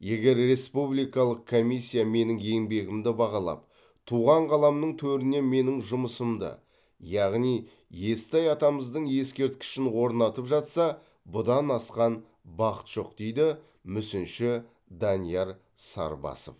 егер республикалық комиссия менің еңбегімді бағалап туған қаламның төрінен менің жұмысымды яғни естай атамыздың ескерткішін орнатып жатса бұдан асқан бақыт жоқ дейді мүсінші данияр сарбасов